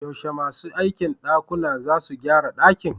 Yaushe masu aikin dakuna zasu gyara dakin?